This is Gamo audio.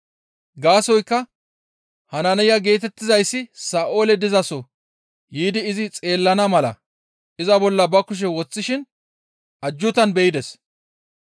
Gaasoykka Hanaaniya geetettizayssi Sa7ooli dizaso yiidi izi xeellana mala iza bolla ba kushe woththishin ajjuutan be7ides.»